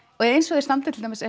eins og þeir standi til dæmis